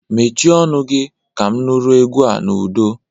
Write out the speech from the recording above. Mechie ọnụ gi! Ka m nụrụ egwu a n'udo.